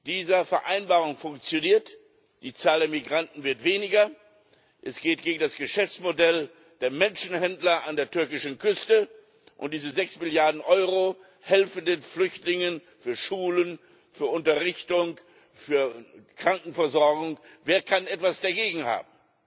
Diese Vereinbarung funktioniert, die Zahl der Migranten wird weniger, es geht gegen das Geschäftsmodell der Menschenhändler an der türkischen Küste, und diese sechs Milliarden Euro helfen den Flüchtlingen für Schulen, für Unterrichtung, für Krankenversorgung wer kann etwas dagegen haben?